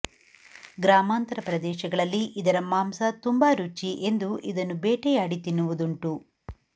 ಗ್ರಾಮಾಂತರ ಪ್ರದೇಶಗಳಲ್ಲಿ ಇದರ ಮಾಂಸ ತುಂಬ ರುಚಿ ಎಂದು ಇದನ್ನು ಬೇಟೆಯಾಡಿ ತಿನ್ನುವುದುಂಟು